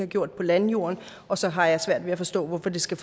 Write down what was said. gjort på landjorden og så har jeg svært at forstå hvorfor det skal